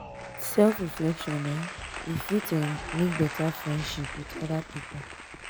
with self reflection um we fit um make better friendship with oda pipo